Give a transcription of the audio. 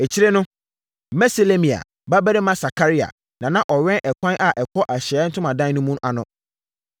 Akyire no, Meselemia babarima Sakaria na na ɔwɛn ɛkwan a ɛkɔ Ahyiaeɛ Ntomadan no mu no ano.